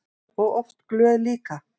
Og oft glöð líka.